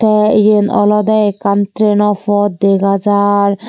the iben olode ekkan train o pot dega jar.